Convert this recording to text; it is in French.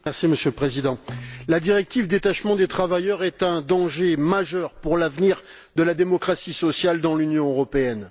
Monsieur le Président, la directive sur le détachement des travailleurs est un danger majeur pour l'avenir de la démocratie sociale dans l'Union européenne.